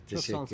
Təşəkkürlər.